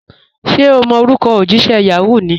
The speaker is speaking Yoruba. Ṣẹ̀ o mọ̀ orúkọ̀ ojísẹ̀ Yahoo mi?